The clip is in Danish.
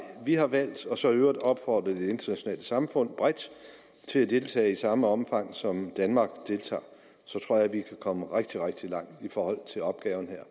vi har valgt og så i øvrigt opfordre det internationale samfund bredt til at deltage i samme omfang som danmark så tror jeg vi kan komme rigtig rigtig langt i forhold til opgaven her